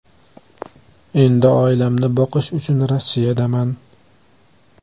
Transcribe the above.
Endi oilamni boqish uchun Rossiyadaman .